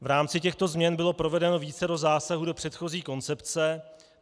V rámci těchto změn bylo provedeno vícero zásahů do předchozí koncepce.